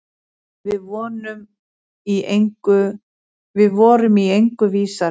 Við vorum í engu vísari.